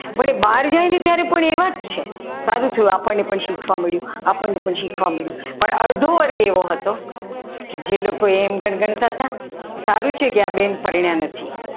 પણ એ બહાર ગઈ ને ત્યારે પણ એવા જ છે સારું થયું આપણને પણ શીખવા મળ્યું આપણને પણ શીખવા મળ્યું પણ અડધો વર્ગ એવો હતો કે જે લોકો એમ ગણતા હતા ને કે સારું છે આ બેન પરણ્યા નથી